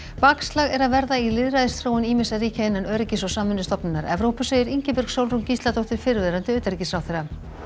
bakslag er að verða í lýðræðisþróun ýmissa ríkja innan Öryggis og samvinnustofnunar Evrópu segir Ingibjörg Sólrún Gísladóttir fyrrverandi utanríkisráðherra